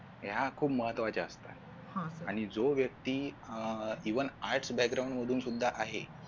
या खूप महत्वाच्या असतात आणि जो व्यक्ती अह even arts background मधून सुद्धा आहे